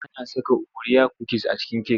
Ana saka oriya kukis a cikin cake.